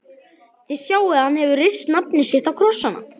Þið sjáið að hann hefur rist nafnið sitt á krossana.